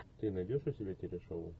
ты найдешь у себя теле шоу